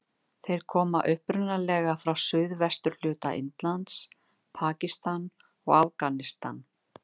Þeir koma upprunalega frá suðvesturhluta Indlands, Pakistan og Afganistan.